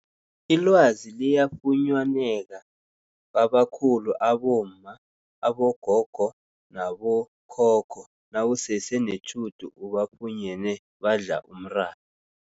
Ilwazi liyafunyaneka kwabakhulu abomma, abogogo nabo khokho nawusese netjhudu ubafunyene badla umratha.